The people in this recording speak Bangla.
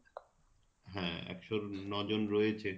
হ্যাঁ এক'শ ন'জন রয়েছে